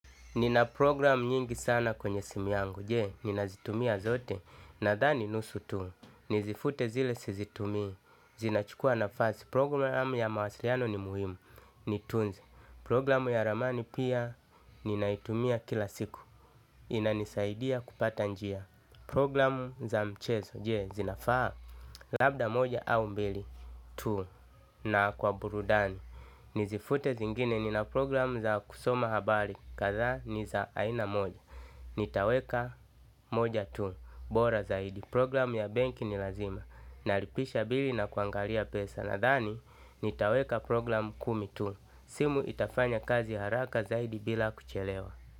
Nina program nyingi sana kwenye simu yangu, jee, nina zitumia zote, na dhani nusu tu, nizifute zile si zitumi, zinachukua na fasi, program ya mawasiliano ni muhimu, ni tunze, program ya ramani pia, ninaitumia kila siku, inanisaidia kupata njia, program za mchezo, jee, zinafaa, labda moja au mbili, tu, na kwa burudani, nizifute zingine, nina program za kusoma habari, kathaa niza aina moja. Nitaweka moja tu. Bora zaidi program ya benki ni lazima. Naripisha bili na kuangalia pesa. Nadhani nitaweka program kumi tu. Simu itafanya kazi haraka zaidi bila kuchelewa.